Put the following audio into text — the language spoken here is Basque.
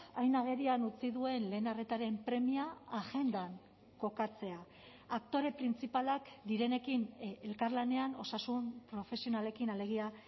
hain agerian utzi duen lehen arretaren premia agendan kokatzea aktore printzipalak direnekin elkarlanean osasun profesionalekin alegia